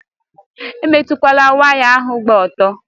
Emetụkwala waya ahụ gba ọtọ!